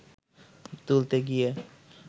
তুলতে গিয়ে